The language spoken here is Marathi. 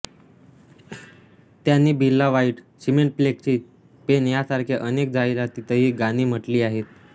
त्यांनी Birla white cement Lexi pen यासारख्या अनेक जाहिरातीतही गाणी म्हटली आहेत